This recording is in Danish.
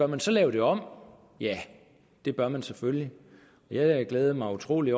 man så lave det om ja det gør man selvfølgelig jeg glæder mig utrolig